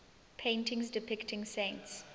paintings depicting saints